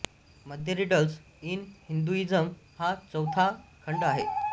मध्ये riddles in Hinduism हा चौथा खंड आहे